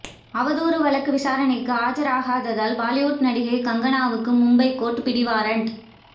அவதூறு வழக்கு விசாரணைக்கு ஆஜராகாததால் பாலிவுட் நடிகை கங்கனாவுக்கு மும்பை கோர்ட் பிடிவாரண்ட்